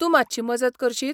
तूं मात्शी मजत करशीत?